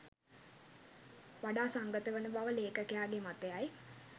වඩා සංගතවන බව ලේඛකයාගේ මතයයි.